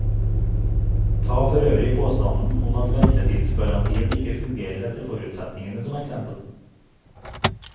Ta forøvrig påstanden om at ventetidsgarantien ikke fungerer etter forutsetningene som eksempel.